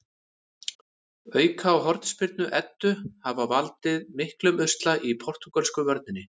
Auka- og hornspyrnu Eddu hafa valdið miklum usla í portúgölsku vörninni.